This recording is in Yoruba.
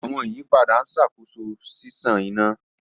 Awọn iyipada n ṣakoso ṣiṣan ina.